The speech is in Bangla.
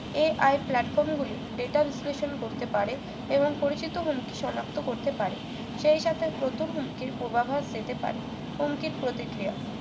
AI platform গুলি data বিশ্লেষণ করতে পারে এবং পরিচিত হুমকি সনাক্ত করতে পারে সেই সাথে প্রথম হুমকির পূর্বাভাস পেতে পারে হুমকির প্রতিক্রিয়া